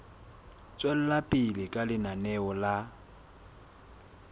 tswela pele ka lenaneo la